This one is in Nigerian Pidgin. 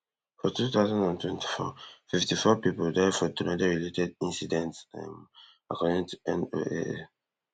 for two thousand and twenty-four fifty-four pipo die for tornadorelated incidents um according to NOAA